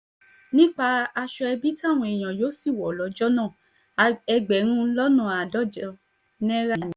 nípa aṣọ ẹbí táwọn èèyàn yóò sì wọ̀ lọ́jọ́ náà ẹgbẹ̀rún lọ́nà àádọ́jọ náírà ni